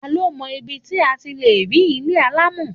Ta ló mọ ibi tí a ti lè rí ilé alámọ̀?